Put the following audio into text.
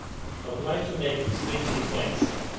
I would like to make three key points here.